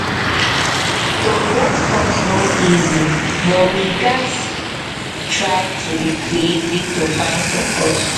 to get funds no easy but we gats but we try to be creative to find support.